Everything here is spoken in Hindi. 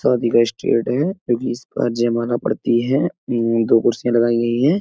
शादी का स्टेट है जो कि इसपर जयमाला पड़ती है। मम्म दो कुर्सियां लगाई गई हैं।